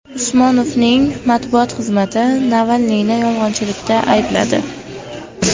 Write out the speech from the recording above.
Usmonovning matbuot xizmati Navalniyni yolg‘onchilikda aybladi.